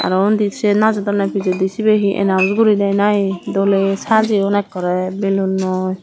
aro undi sey najodonne pijendi cibay he announce gori de nahe dole sajeyoun ekore balloonoi.